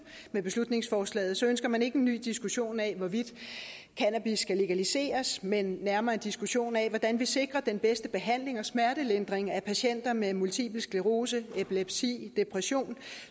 med beslutningsforslaget ønsker man ikke en ny diskussion af hvorvidt cannabis skal legaliseres men nærmere en diskussion af hvordan vi sikrer den bedste behandling og smertelindring af patienter med multipel sklerose epilepsi depression